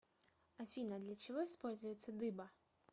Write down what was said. афина для чего используется дыба